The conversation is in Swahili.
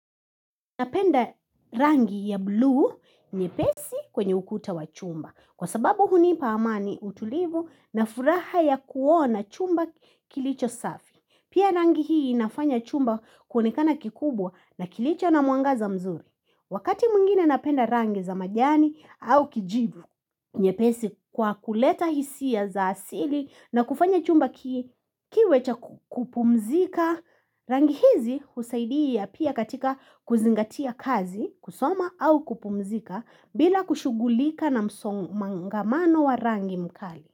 Napenda rangi ya buluu nyepesi kwenye ukuta wa chumba. Kwa sababu hunipa amani, utulivu na furaha ya kuona chumba kilicho safi. Pia rangi hii inafanya chumba kuonekana kikubwa na kilicho na mwangaza mzuri. Wakati mwingine napenda rangi za majani au kijivu nyepesi kwa kuleta hisia za asili na kufanya chumba kiwe cha kupumzika Rangi hizi husaidia pia katika kuzingatia kazi, kusoma au kupumzika bila kushugulika na msongamano wa rangi mkali.